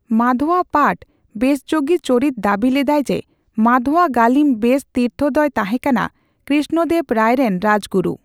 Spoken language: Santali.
ᱢᱟᱫᱷᱳᱣᱟ ᱯᱟᱴᱷ ᱵᱮᱥᱡᱳᱜᱤ ᱪᱚᱨᱤᱛ ᱫᱟᱹᱵᱤ ᱞᱮᱫᱟᱭ ᱡᱮ ᱢᱟᱫᱷᱳᱣᱟ ᱜᱟᱹᱞᱤᱢ ᱵᱮᱥ ᱛᱤᱨᱛᱷᱚ ᱫᱚᱭ ᱛᱟᱦᱮᱸᱠᱟᱱᱟ ᱠᱨᱤᱥᱱᱚ ᱫᱮᱹᱵᱽ ᱨᱟᱭ ᱨᱮᱱ ᱨᱟᱡᱽᱜᱩᱨᱩ ᱾